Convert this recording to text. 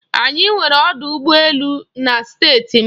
Anyị nwere ọdụ ụgbọ elu na Steeti m.